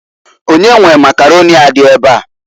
Onye nwe Makaroni a di ebea?